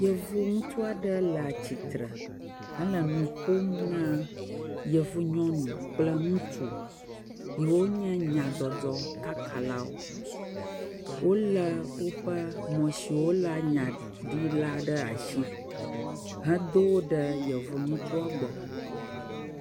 Ɖevi ŋutsu aɖe le atsitre hele nu ƒom ne yevu nyɔnu kple ŋutsu yiwo nye nyadzɔdzɔ kakalawo. Wolé woƒe mɔ si woléa nya ɖi la ɖe asi hedo yevu ŋutsua gbɔ.